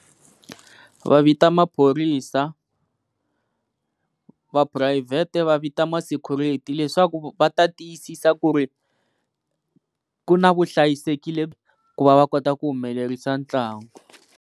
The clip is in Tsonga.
Va vita maphorisa, va phurayivhete va vita ma-security leswaku va ta tiyisisa ku ri ku na vuhlayisekile ku va va kota ku humelerisa ntlangu.